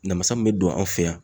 Namasa min bɛ don an fɛ yan